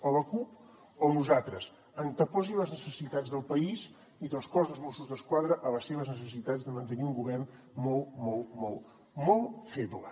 o la cup o nosaltres anteposi les necessitats del país i del cos dels mossos d’esquadra a les seves necessitats de mantenir un govern molt molt molt feble